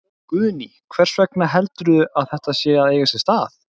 Guðný: Hvers vegna heldurðu að, að þetta sé að eiga sér stað?